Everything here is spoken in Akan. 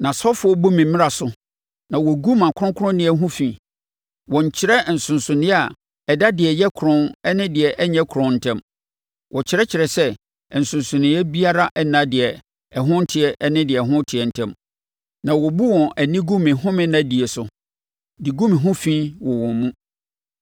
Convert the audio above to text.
Nʼasɔfoɔ bu me mmara so na wɔgu mʼakronkronneɛ ho fi; wɔnnkyerɛ nsonsonoeɛ a ɛda deɛ ɛyɛ kronn ne deɛ ɛnyɛ kronn ntam; wɔkyerɛkyerɛ sɛ nsonsonoeɛ biara nna deɛ ɛho nteɛ ne deɛ ɛho teɛ ntam, na wɔbu wɔn ani gu me home nna die so, de gu me ho fi wɔ wɔn mu.